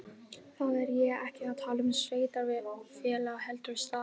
Þá er ég ekki að tala um sveitarfélag heldur stað.